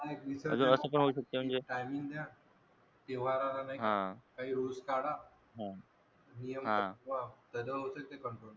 तेव्हारा ला नाही का? काही rules काढा नियम बनवा त्याच्याने होवू शकते. control